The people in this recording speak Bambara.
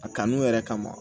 A kanu yɛrɛ kama